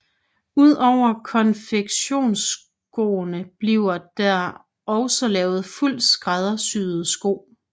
Udover konfektionsskoene bliver der også lavet fuldt skræddersyede sko